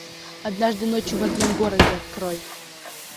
однажды ночью в одном городе открой